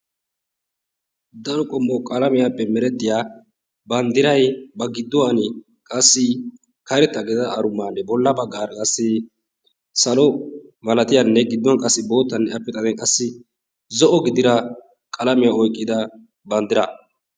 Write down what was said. Daro qommo qalamiyaappe meretiya banddiray ba gidduwan qassi karetta gidida arummanne bolla baggaara qassi salo malaatiyanne gidduwan qassi boottanne appe xaden qassi zo'o qalamiya oyqqida banddira.